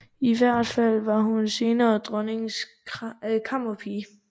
I hvert fald var hun senere dronningens kammerpige